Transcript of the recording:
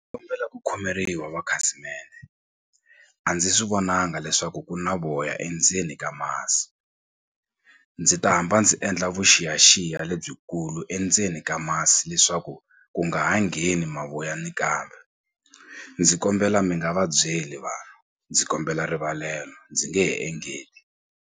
ku khomeriwa makhasimende a ndzi swi vonanga leswaku ku na voya endzeni ka masi ndzi ta hamba ndzi endla vuxiyaxiya lebyikulu endzeni ka masi leswaku ku nga ha ngheni mavoya ni kambe ndzi kombela mi nga va byeli vanhu ndzi kombela rivalelo ndzi nge he engeti.